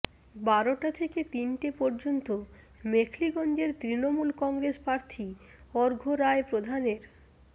বারোটা থেকে তিনটে পর্যন্ত মেখলিগঞ্জের তৃণমূল কংগ্রেস প্রার্থী অর্ঘ্য রায় প্রধানের